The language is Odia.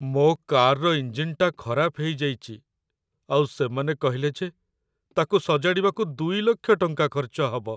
ମୋ କାର୍‌ର ଇଞ୍ଜିନ୍‌ଟା ଖରାପ ହେଇଯାଇଚି ଆଉ ସେମାନେ କହିଲେ ଯେ ତା'କୁ ସଜାଡ଼ିବାକୁ ୨ ଲକ୍ଷ ଟଙ୍କା ଖର୍ଚ୍ଚ ହବ!